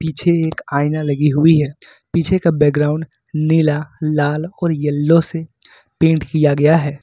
पीछे एक आईना लगी हुई है पीछे का बैकग्राउंड नीला लाल और येलो से पेंट किया गया है।